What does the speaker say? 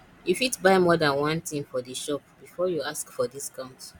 you fit buy more than one thing for di shop before you ask for discount